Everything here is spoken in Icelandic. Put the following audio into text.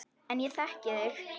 En ég þekki þig.